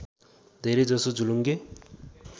धेरै जसो झुलुङ्गे